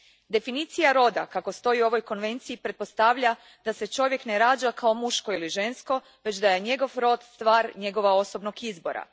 Definicija roda kako stoji u ovoj konvenciji pretpostavlja da se čovjek ne rađa kao muško ili žensko, već da je njegov rod stvar njegova osobnog izbora.